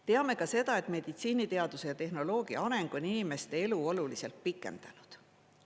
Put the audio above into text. Teame ka seda, et meditsiiniteaduse ja tehnoloogia areng on inimeste elu oluliselt pikendanud.